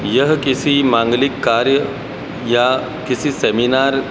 यह किसी मांगलिक कार्य या किसी सेमिनार --